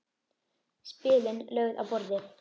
Spilin lögð á borðið.